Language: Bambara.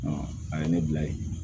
a ye ne bila ye